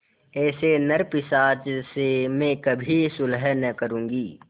ऐसे नरपिशाच से मैं कभी सुलह न करुँगी